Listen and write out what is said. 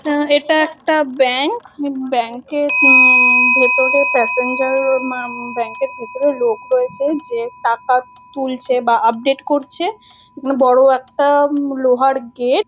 আ-- এটা একটা bank. Bank - র উম-- ভেতরে প্যাসেঞ্জার মা-- ব্যাংক এর ভেতরে লোক রয়েছে যে টাকা তুলছে বা আপডেট করছে । বড় একটা লোহার গেট ।